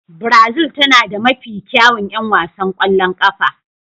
Brazil tana da mafi kyawun 'yan wasan ƙwallon ƙafa.